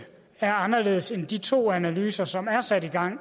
er anderledes end de to analyser som er sat i gang